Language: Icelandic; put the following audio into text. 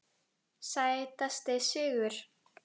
Sætasti sigur?